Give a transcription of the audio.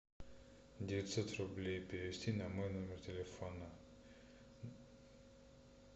девятьсот рублей перевести на мой номер телефона